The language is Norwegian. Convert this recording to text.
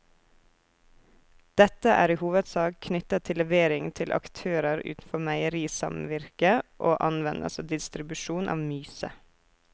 Dette er i hovedsak knyttet til levering til aktører utenfor meierisamvirket og anvendelse og distribusjon av myse.